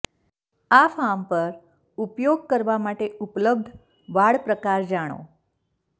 આ ફાર્મ પર ઉપયોગ કરવા માટે ઉપલબ્ધ વાડ પ્રકાર જાણો